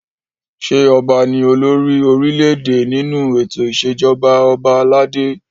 Ṣé ọba ni olórí orílẹ̀-èdè nínú ètò ìṣèjọba ọlọba aládé?